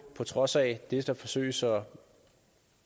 på trods af det der forsøges at